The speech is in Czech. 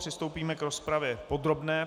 Přistoupíme k rozpravě podrobné.